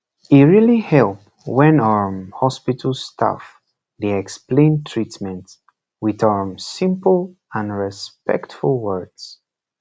e really help when um hospital staff dey explain treatment with um simple and respectful words